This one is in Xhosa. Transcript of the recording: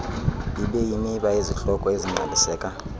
ibeyimiba yezihloko ezingqaliseka